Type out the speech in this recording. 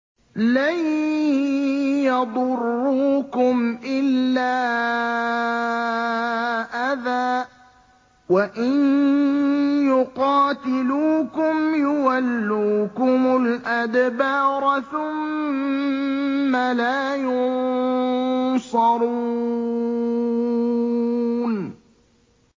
لَن يَضُرُّوكُمْ إِلَّا أَذًى ۖ وَإِن يُقَاتِلُوكُمْ يُوَلُّوكُمُ الْأَدْبَارَ ثُمَّ لَا يُنصَرُونَ